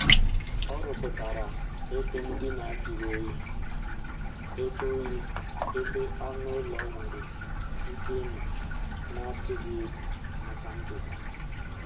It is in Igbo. Ọ rụpụtara ebe ndina juru oyi ebe oyi ebe anụ ụlọ nwere ike ịnọ na-atụghị egwu maka ndụ ha